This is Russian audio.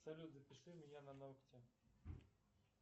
салют запиши меня на ногти